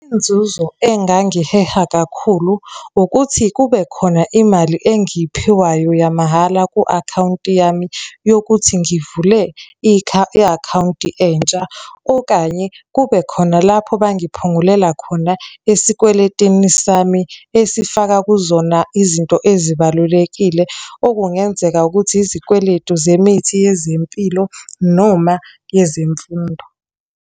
Inzuzo engangiheha kakhulu ukuthi kubekhona imali engiyiphiwayo yamahhala ku-akhawunti yami yokuthi ngivule i-akhawunti entsha, okanye kube khona lapho bangiphungulela khona esikweletini sami esifaka kuzona izinto ezibalulekile, okungenzeka ukuthi izikweletu zemithi yezempilo noma yezemfundo.